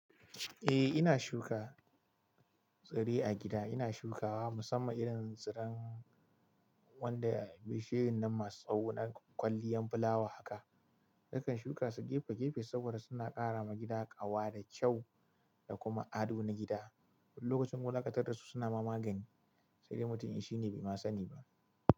Eh ina shuka tsire a gida, ina shukawa musamman irin tsiran wanda bishiyoyin nan masu tsawo na kwalliyan fulawa haka. Nakan shuka su gefe gefe saboda suna ƙara ma gida ƙawa da kyau da kuma ado na gida. Lokacin wulanƙatar da su suna ma magani sai da mutum shi ne bai ma sani ba.